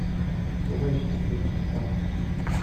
врубай счастливчик пашка